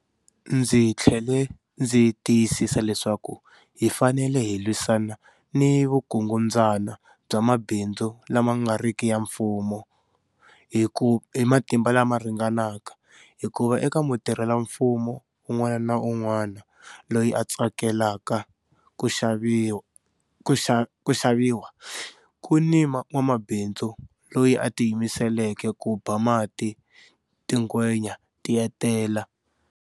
Ndzi tlhele ndzi tiyisisa leswaku hi fanele hi lwisana ni vukungundzwana bya mabindzu la ma ngariki ya mfumo hi matimba lama ringanaka, hikuva eka mutirhela mfumo un'wana ni un'wana loyi a tsakelaka ku xaviwa, ku ni n'wamabindzu loyi a tiyimiseleke ku ba mati tingwenya tietela.